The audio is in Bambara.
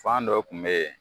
Fan dɔ tun be ye